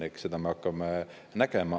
Eks seda me hakkame nägema.